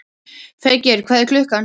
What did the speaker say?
Feykir, hvað er klukkan?